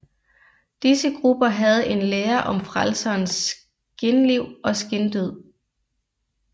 Disse grupper havde en lære om frelserens skinliv og skindød